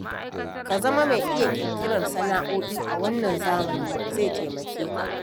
Ka zama mai iya ƙirƙirar sana'o'i a wannan zamani zai taimake ka.